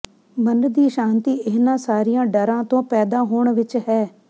ਮਨ ਦੀ ਸ਼ਾਂਤੀ ਇਹਨਾਂ ਸਾਰੀਆਂ ਡਰਾਂ ਤੋਂ ਪੈਦਾ ਹੋਣ ਵਿੱਚ ਹੈ